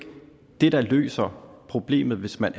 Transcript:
det der løser problemet hvis man